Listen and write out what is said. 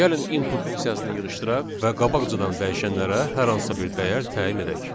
Gəlin input funksiyasını yığışdıraq və qabaqcadan dəyişənlərə hər hansısa bir dəyər təyin edək.